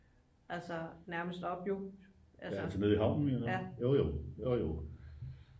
altså nærmest op jo